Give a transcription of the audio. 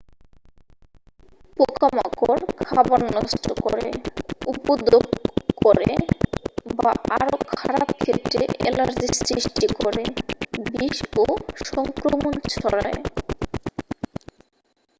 পোকামাকড় খাবার নষ্ট করে উপদ্রব করে বা আরও খারাপ ক্ষেত্রে অ্যালার্জি সৃষ্টি করে বিষ ও সংক্রমণ ছড়ায়